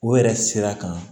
O yɛrɛ sira kan